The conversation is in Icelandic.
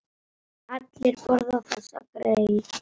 Allir borða þessi grey.